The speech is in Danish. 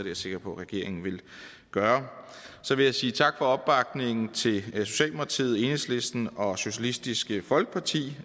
jeg sikker på at regeringen vil gøre så vil jeg sige tak for opbakningen til socialdemokratiet enhedslisten og socialistisk folkeparti